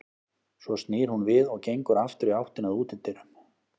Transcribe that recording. Svo snýr hún við og gengur aftur í áttina að útidyrum.